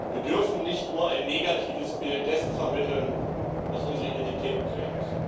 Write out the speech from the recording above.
Wir dürfen nicht nur ein negatives Bild dessen vermitteln, was unsere Identität prägt.